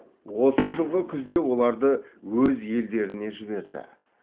осы жылғы күзде оларды өз елдеріне жіберді